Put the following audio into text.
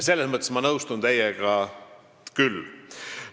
Selles mõttes ma nõustun teiega küll.